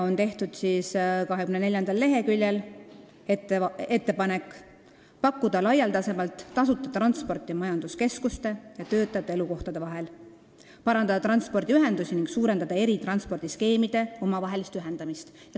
Leheküljel 24 on tehtud ettepanek pakkuda laialdasemalt tasuta transporti majanduskeskuste ja töötajate elukohtade vahel, parandada transpordiühendusi ning suurendada eri transpordiskeemide omavahelist ühilduvust.